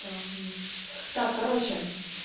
да нет так короче